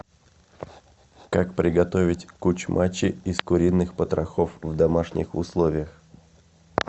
как приготовить кучмачи из куриных потрохов в домашних условиях